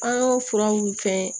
An y'o furaw fɛn